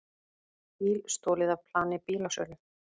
Bíl stolið af plani bílasölu